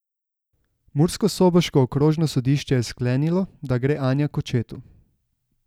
Murskosoboško okrožno sodišče je sklenilo, da gre Anja k očetu.